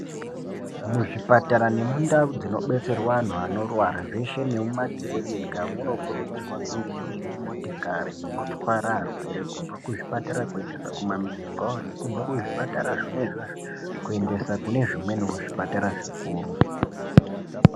Muzvipatara nemundau dzinobetserwa anhu anorwara zveshe nemumakirinika munokurudzirwa kunge muine motikari dzinotwara arwere kubva kuzvipatara kuendesa kumamwizi kwavo nekubva kuzvipatara zvona izvozvo kuendesa kune zvimweniwo zvipatara zvikuru.